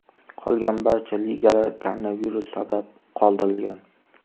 Qolgan barcha ligalar koronavirus sabab qoldirilgan.